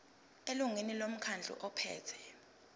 elungwini lomkhandlu ophethe